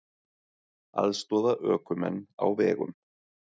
Aðstoða ökumenn á vegum